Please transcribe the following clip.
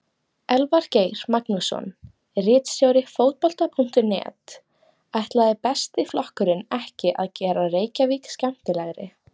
Elvar Geir Magnússon, ritstjóri Fótbolta.net: Ætlaði Besti flokkurinn ekki að gera Reykjavík skemmtilegri?